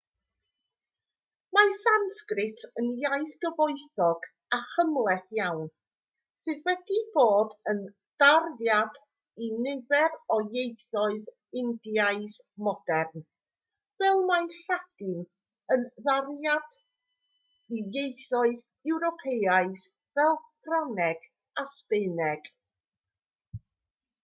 mae sansgrit yn iaith gyfoethog a chymhleth iawn sydd wedi bod yn darddiad i nifer o ieithoedd indiaidd modern fel mae lladin yn darddiad i ieithoedd ewropeaidd fel ffrangeg a sbaeneg